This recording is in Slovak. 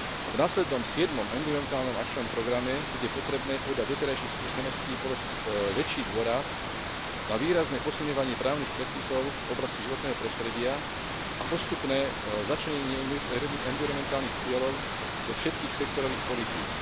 V následnom siedmom environmentálnom akčnom programe bude potrebné podľa doterajších skúseností položiť väčší dôraz na výrazne posilňovanie právnych predpisov v oblasti životného prostredia a postupné začlenenie environmentálnych cieľov do všetkých sektorových politík.